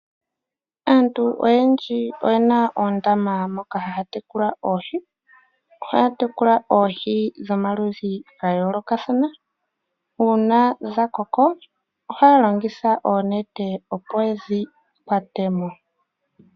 Aantu oyendji oyena oondama moka haatekula oohi, ohaa tekula oohi dhomaludhi gayoolokathana uuna dhakoko ohaa longitha oonete opo yedhi kwate mo.